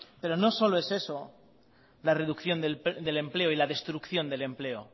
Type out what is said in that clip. pero no solo es eso la reducción del empleo y la destrucción del empleo